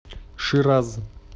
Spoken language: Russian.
шираз